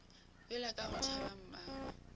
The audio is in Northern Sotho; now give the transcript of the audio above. yola ka go tšhaba mmagwe